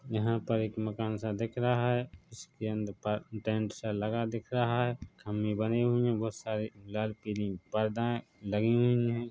यहां पर एक मकान सा दिख रहा है इसके अंदर टेंट सा लगा दिख रहा है खंभे बने हुए है बहुत सारे लाल कलर के परदे लगे हुए है।